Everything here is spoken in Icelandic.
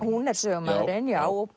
hún er sögumaðurinn já og